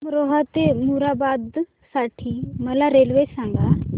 अमरोहा ते मुरादाबाद साठी मला रेल्वे सांगा